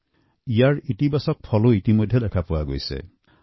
ইতিমধ্যে ইয়াৰ ইতিবাচক দিশসমূহো আমি দেখি আহিছো